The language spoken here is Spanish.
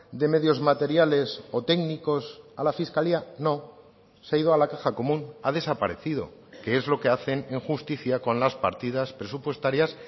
de medios materiales o técnicos a la fiscalía no se ha ido a la caja común ha desaparecido que es lo que hacen en justicia con las partidas presupuestarias